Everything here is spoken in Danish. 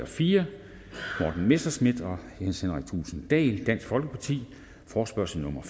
fire morten messerschmidt og jens henrik thulesen dahl forespørgsel nummer